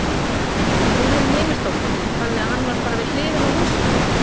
Guðrún Heimisdóttir: Þannig að hann var bara við hliðina á húsinu þínu?